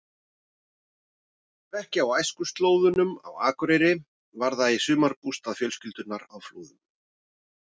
Ef ekki á æskuslóðunum á Akureyri var það í sumarbústað fjölskyldunnar á Flúðum.